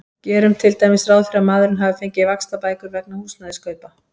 Gerum til dæmis ráð fyrir að maðurinn hafi fengið vaxtabætur vegna húsnæðiskaupa.